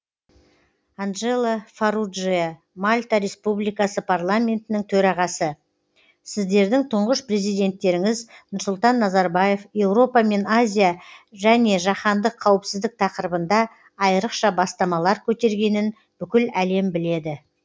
анджело фарруджиа мальта республикасы парламентінің төрағасы сіздердің тұңғыш президенттеріңіз нұрсұлтан назарбаев еуропа мен азия және жаһандық қауіпсіздік тақырыбында айрықша бастамалар көтергенін бүкіл әлем біледі